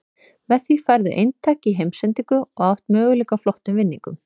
Með því færðu eintak í heimsendingu og átt möguleika á flottum vinningum.